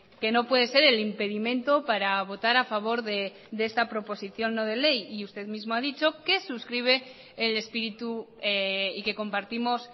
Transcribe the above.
que no puede ser el impedimento para votar a favor de esta proposición no de ley y usted mismo ha dicho que suscribe el espíritu y que compartimos